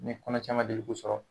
kɔnɔ caman de bɛ k'u sɔrɔ